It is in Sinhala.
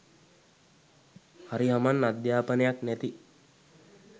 හරි හමන් අධ්‍යාපනයක් නැති